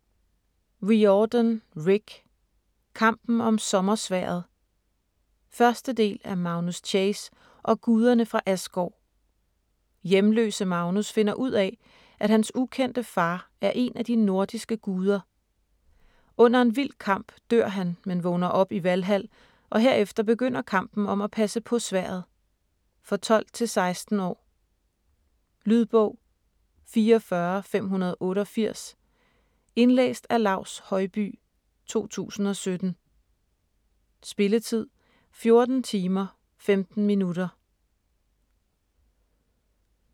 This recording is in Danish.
Riordan, Rick: Kampen om sommersværdet 1. del af Magnus Chase og guderne fra Asgård. Hjemløse Magnus finder ud af, at hans ukendte far er en af de nordiske guder. Under en vild kamp dør han, men vågner op i Valhal og herefter begynder kampen om at passe på sværdet. For 12-16 år. Lydbog 44588 Indlæst af Laus Høybye, 2017. Spilletid: 14 timer, 15 minutter.